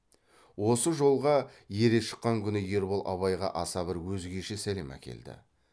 осы жолға ере шыққан күні ербол абайға аса бір өзгеше сәлем әкелді